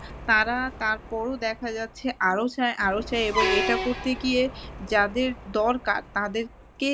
তারা তারপরও দেখা যাচ্ছে আরো চাই আরো চাই এবং এটা করতে গিয়ে যাদের দরকার তাদেরকে